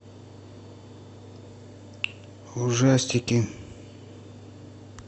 ужастики